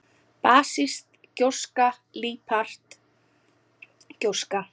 basísk gjóska líparít gjóska